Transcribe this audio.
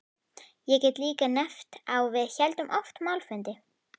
Ég get líka nefnt að við héldum oft málfundi.